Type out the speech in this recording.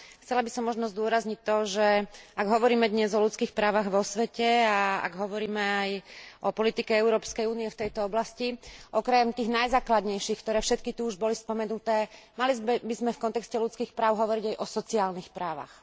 Chcela by som možno zdôrazniť to, že ak hovoríme dnes o ľudských právach vo svete a ak hovoríme aj o politike Európskej únie v tejto oblasti, okrem tých najzákladnejších, ktoré všetky tu už boli všetky spomenuté, mali by sme v kontexte ľudských práv hovoriť aj o sociálnych právach.